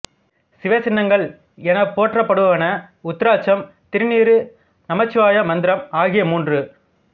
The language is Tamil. சிவசின்னங்கள் எனப் போற்றப்படுவன உருத்திராச்சம் திருநீறு நமச்சிவாயமந்திரம் ஆகிய மூன்று